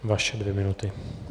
Vaše dvě minuty.